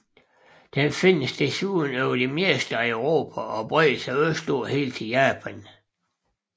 Den findes desuden over det meste af Europa og breder sig østpå helt til Japan